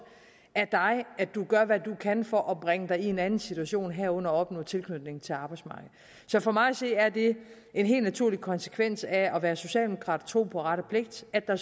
af dig at du gør hvad du kan for at bringe dig i en anden situation herunder opnå tilknytning til arbejdsmarkedet så for mig at se er det en helt naturlig konsekvens af at være socialdemokrat og tro på ret og pligt at der